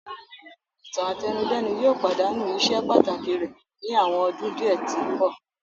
Ìtàn-àtẹnudẹ́nu yóò padanu iṣe pataki rẹ ni awọn ọdun diẹ ti nbọ.